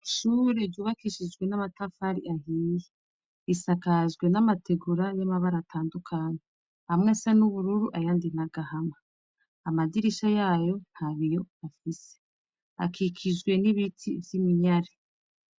Ishure ryubakishijwe n'amatafari ahiye; risakajwe n'amategura y'amabara atandukanye: amwe asa n'ubururu ayandi n'agahama. Amadirisha yayo nta biyo afise. Hakikijwe n'ibiti vy'iminyare.